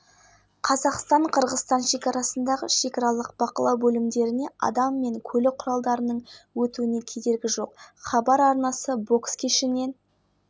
ақмола солтүстік қазақстан және қостанай облыстарында жауын-шашын тұман жел тиісінше және градус қостанай облысында көктайғақ павлодар